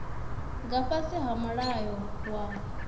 nga fhasi ha mulayo wa